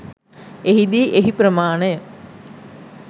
එහිදී එහි ප්‍රමාණය